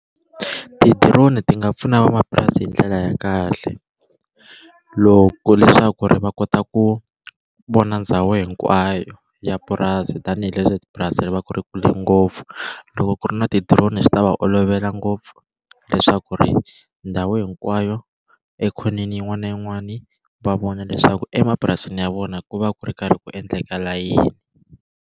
Ti-drone ti nga pfuna van'wamapurasi hi ndlela ya kahle loko leswaku ri va kota ku vona ndhawu hinkwayo ya purasi tanihileswi purasi ri va ri kule ngopfu loko ku ri na ti-drone swi ta va olovela ngopfu leswaku ri ndhawu hinkwayo ekhoneni yin'wana na yin'wani va vona leswaku emapurasini ya vona ku va ku ri karhi ku endlekala yini.